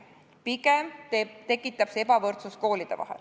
Pigem tekitab see koolide vahel ebavõrdsust.